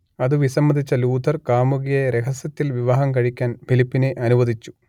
അതു വിസമ്മതിച്ച ലൂഥർ കാമുകിയെ രഹസ്യത്തിൽ വിവാഹം കഴിക്കാൻ ഫിലിപ്പിനെ അനുവദിച്ചു